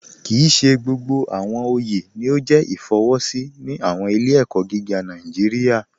Kíì ṣè gbogbo awọn ọyẹ ni o jẹ ifọwọsi ni awọn ilẹ̀-ẹ̀kọ gígà Nàìjíríà.